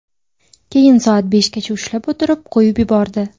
Keyin soat beshgacha ushlab o‘tirib, qo‘yib yubordi.